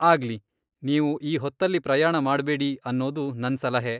ಆಗ್ಲಿ. ನೀವು ಈ ಹೊತ್ತಲ್ಲಿ ಪ್ರಯಾಣ ಮಾಡ್ಬೇಡಿ ಅನ್ನೋದು ನನ್ ಸಲಹೆ.